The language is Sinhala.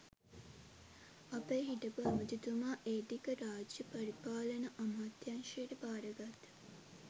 අපේ හිටපු ඇමතිතුමා ඒ ටික රාජ්‍ය පරිපාලන අමාත්‍යංශයට භාරගත්ත